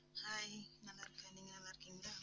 hi நான் நல்லா இருக்கேன், நீங்க நல்லா இருக்கீங்களா.